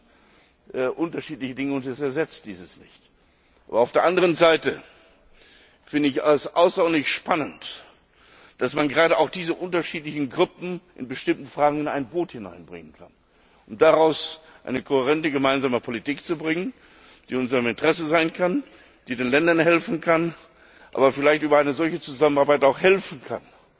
Das sind unterschiedliche Dinge, und sie ersetzt diese nicht. Auf der anderen Seite finde ich es außerordentlich spannend, dass man gerade diese unterschiedlichen Gruppen in bestimmten Fragen in ein Boot hineinbringen kann, um daraus eine kohärente gemeinsame Politik zu machen, die in unserem Interesse sein kann und die den Ländern helfen kann, aber über eine solche Zusammenarbeit vielleicht auch helfen kann,